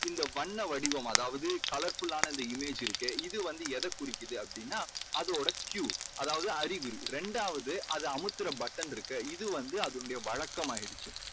இந்த வண்ண வடிவம் அதாவது colourful லான அந்த image இருக்கே இது எதை குறிக்குது அப்படீன்னா அதோட Q அதாவது அறிவு. இரண்டாவது அது அமுக்கற button இருக்கு இது வந்து அதனுடைய வழக்கமாயிடுச்சு.